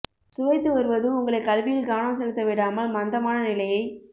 சுவைத்து வருவது உங்களை கல்வியில் கவனம் செலுத்த விடாமல் மந்தமான நிலையை